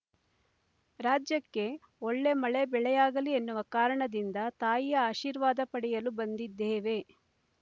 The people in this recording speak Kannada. ರಾಜ್ಯಕ್ಕೆ ಒಳ್ಳೆ ಮಳೆ ಬೆಳೆಯಾಗಲಿ ಎನ್ನುವ ಕಾರಣದಿಂದ ತಾಯಿಯ ಆಶೀರ್ವಾದ ಪಡೆಯಲು ಬಂದಿದ್ದೇವೆ